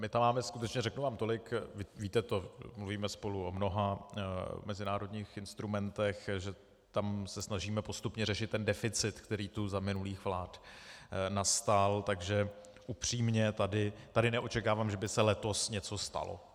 My tam máme skutečně - řeknu vám tolik, víte to, mluvíme spolu o mnoha mezinárodních instrumentech, že se tam snažíme postupně řešit ten deficit, který tu za minulých vlád nastal, takže upřímně, tady neočekávám, že by se letos něco stalo.